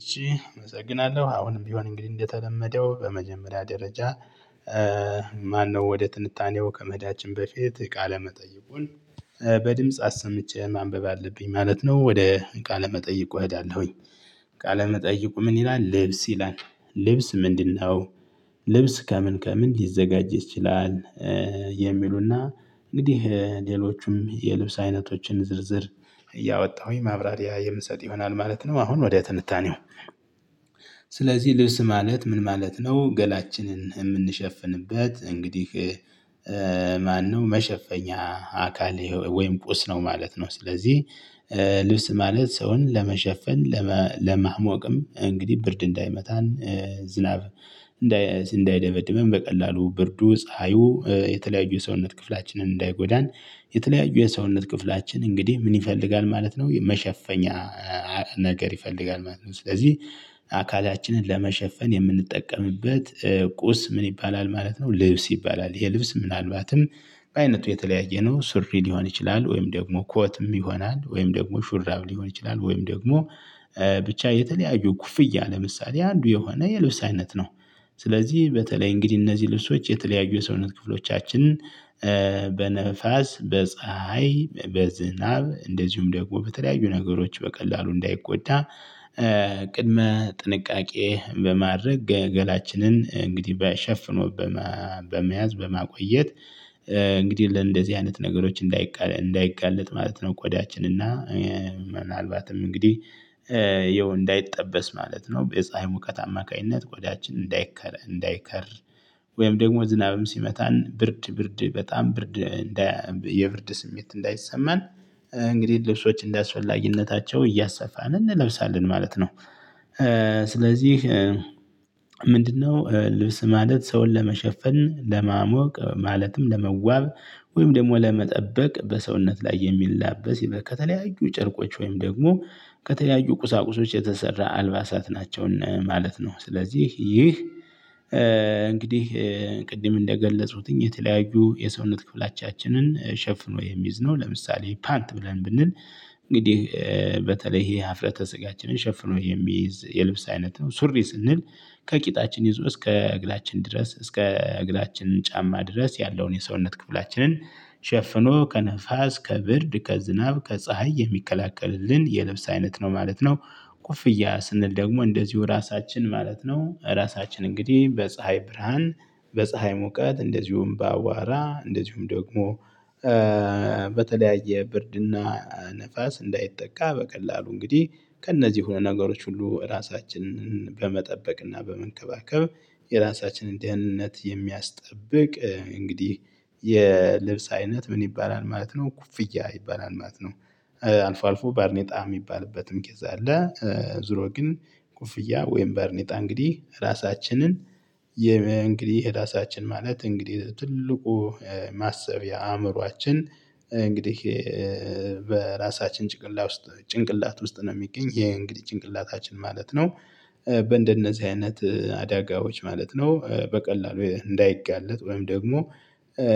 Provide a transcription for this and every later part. እሺ አመሰግናለሁ አሁንም ቢሆን እንግዲህ እንደተለመደው በመጀመሪያ ደረጃ። ማነው ወደ ትንታኔው ከመሄዳችን በፊት ቃለ መጠየቁን በድምጽ አሰምቼ ማንበብ አለብኝ ማለት ነው። ወደ ቃለ መጠይቁ እሄዳለሁኝ። ቃለ መጠይቁ ምን ይላል? ልብስ ይላል? ልብስ ምንድነው? ልብስ ከምን ከምን ሊዘጋጅ ይችላል። የሚሉና እንግዲህ ሌሎቹም የልብስ አይነቶችን ዝርዝር እያወጣሁኝ ማብራሪያ የምሰጥ ይሆናል ማለት ነው። አሁን ወዲያ ትንታኔው። ስለዚህ ልብስ ማለት ምን ማለት ነው? ገላችንን የምንሸፍንበት እንግዲህ። ማነው መሸፈኛ አካል ወይም ቁስ ነው ማለት ነው። ስለዚህ ልብስ ማለት ሰውን ለመሸፈን ለማሞቅም እንግዲህ ብርድ እንዳይመታን። ዝናብ እንዳይደበድበን በቀላሉ ብርዱ ፀሀዩ የተለያዩ የሰውነት ክፍላችንን እንዳይጎዳን። የተለያዩ የሰውነት ክፍላችን እንግዲህ ምን ይፈልጋል ማለት ነው? መሸፈኛ ነገር ይፈልጋል ማለት ነው። ስለዚህ አካላችንን ለመሸፈን የምንጠቀምበት ቁስ ምን ይባላል ማለት ነው? ልብስ ይባላል። ይሄ ልብስ ምናልባትም በአይነቱ የተለያየ ነው። ስሪ ሊሆን ይችላል ወይም ደግሞ ኮትም ይሆናል ወይም ደግሞ ሹራብ ሊሆን ይችላል። ወይም ደግሞ ብቻ የተለያዩ ኩፍያ ለምሳሌ አንዱ የሆነ የልብስ አይነት ነው። ስለዚህ በተለይ እንግዲህ እነዚህ ልብሶች የተለያዩ ሰውነት ክፍሎቻችን በነፋስ በፀሀይ በዝናብ እንደዚሁም ደግሞ በተለያዩ ነገሮች በቀላሉ እንዳይቆጣ። ቅድመ ጥንቃቄ በማድረግ ገላችንን እንግዲህ በ ሸፍኖበት በመያዝ በማቆየት። እንግዲህ ለእንደዚህ አይነት ነገሮች እንዳይጋለጥ ማለት ነው። ቆዳችን እና ምናልባትም እንግዲህ ይኸው እንዳይጠበስ ማለት ነው። በፀሀይ ሙቀት አማካኝነት ቆዳችን እንዳይከረ እንዳይከር ወይም ደግሞ ዝናብም ሲመታን ብርድ ብርድ በጣም ብርድ እንዳያ የብርድ ስሜት እንዳይሰማን። እንግዲህ ልብሶች እንዳስፈላጊነታቸው እያሰፋን እንለብሳለን ማለት ነው። ስለዚህ ምንድነው? ልብስ ማለት ሰውን ለመሸፈን ለማሞቅ ማለትም ለመዋብ ወይም ደግሞ ለመጠበቅ በሰውነት ላይ የሚላበስ ይበል ከተለያዩ ጭርቆች ወይም ደግሞ ከተለያዩ ቁሳቁሶች የተሰራ አልባሳት ናቸውን ማለት ነው። ስለዚህ ይህ እንግዲህ ቅድም እንደገለጹትኝ የተለያዩ የሰውነት ክፍላቻችንን ሸፍኖ የሚዝነው ለምሳሌ ፓንት ብለን ብንል። እንግዲህ በተለይ ይሄ ሀፍረተ ስጋችንን ሸፍኖ የሚይዝ የልብስ አይነት ነው። ሱሪ ስንል። ከቂጣችን ይዞ እስከ እግራችን ድረስ እስከ እግራችን ጫማ ድረስ ያለውን የሰውነት ክፍላችንን ሸፍኖ ከንፋስ ከብርድ ከዝናብ ከፀሀይ የሚከላከልልን የልብስ አይነት ነው ማለት ነው። ኮፍያ ስንል ደግሞ እንደዚሁ ራሳችን ማለት ነው ራሳችን እንግዲህ በፀሀይ ብርሃን በፀሀይ ሙቀት እንደዚሁም በአዋራ እንደዚሁም ደግሞ። በተለያየ ብርድና ነፋስ እንዳይጠቃ በቀላሉ እንግዲህ ከእነዚህ ሆኖ ነገሮች ሁሉ ራሳችንን በመጠበቅ እና በመንከባከብ። የራሳችንን ደህንነት የሚያስጠብቅ እንግዲህ የልብስ አይነት ምን ይባላል ማለት ነው ኩፍያ ይባላል ማለት ነው። አልፎ አልፎ ባርኔጣ የሚባልበትም ጊዜ አለ። ዙሮ ግን ኩፍያ ወይም በርኔጣ እንግዲህ ራሳችንን እንግዲህ ራሳችን ማለት እንግዲህ ትልቁ ማሰብ የአእምሮአችን እንግዲህ በራሳችን ጭንቅላት ውስጥ ጭንቅላት ውስጥ ነው የሚገኝ ይሄ እንግዲህ ጭንቅላታችን ማለት ነው። በእንደነዚህ አይነት አደጋዎች ማለት ነው በቀላሉ እንዳይጋለጥ ወይም ደግሞ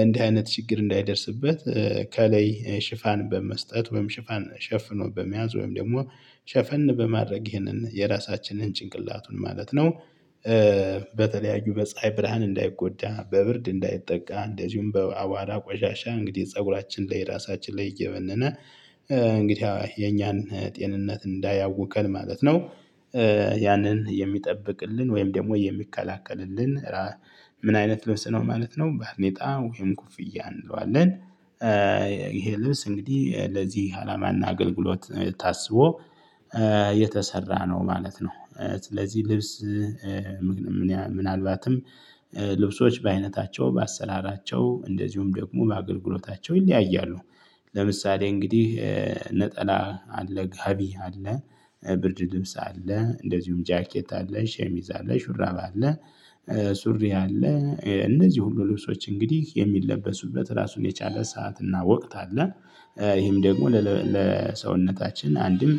እንዲህ አይነት ችግር እንዳይደርስበት። ከላይ ሽፋን በመስጠት ወይም ሽፋን ሸፍኖ በመያዝ ወይም ደግሞ ሸፈን በማድረግ ይህንን የራሳችንን ጭንቅላቱን ማለት ነው። በተለያዩ በፀሀይ ብርሃን እንዳይጎዳ በብርድ እንዳይጠቃ እንደዚሁም በአባራ ቆሻሻ እንግዲህ ፀጉራችን ላይ ራሳችን ላይ እየበነነ እንግዲህ የኛን ጤንነት እንዳያውከን ማለት ነው። ያንን የሚጠብቅልን ወይም ደግሞ የሚከላከልልን? ምን አይነት ልብስ ነው ማለት ነው ባርኔጣ ወይም ኮፍያ እንለዋለን። ይሄ ልብስ እንግዲህ ለዚህ አላማና አገልግሎት ታስቦ የተሰራ ነው ማለት ነው። ስለዚህ ልብስ ምንያው ምናልባትም ልብሶች በአይነታቸው በአሰራራቸው እንደዚሁም ደግሞ በአገልግሎታቸው ይለያያሉ። ለምሳሌ እንግዲህ ነጠላ አለ ጋቢ አለ ብርድ ልብስ አለ እንደዚሁም ጃኬት አለሽ ሸሚዝ አለ ሹራብ አለ። ሱሪ አለ እነዚህ ሁሉ ልብሶች እንግዲህ የሚለበሱበት ራሱን የቻለ ሰዓት እና ወቅት አለ። ይሄም ደግሞ ለሰውነታችን አንድም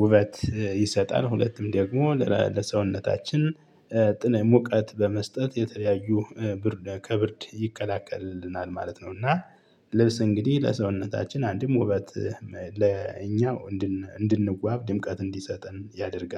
ውበት ይሰጣል ሁለትም ደግሞ ለሰውነታችን ጥናት ሙቀት በመስጠት የተለያዩ ብርድ ከብርድ ይከላከልልናል ማለት ነው። እና ልብስ እንግዲህ ለሰውነታችን አንድም ውበት ለእኛው እንድንዋብ ድምቀት እንዲሰጠን ያደርጋል